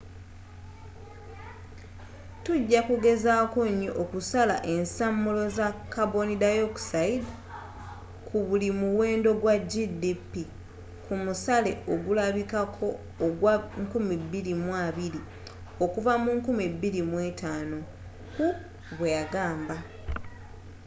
tujja kugezaako nyo okusala ensamulo za karboni dioxide ku buli muwendo gwa gdp ku musale ogulabikako ogwa 2020 okuva 2005,” hu bweyagamba